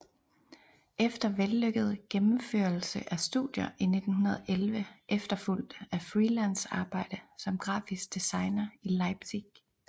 Efter vellykket gennemførelse af studier i 1911 efterfulgt af freelance arbejde som grafisk designer i Leipzig